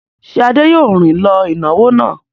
Ṣé Adé yóò rìn lọ ìnáwó náà?